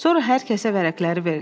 Sonra hər kəsə vərəqləri ver.